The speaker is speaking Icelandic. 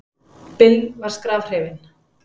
Bill var skrafhreifinn.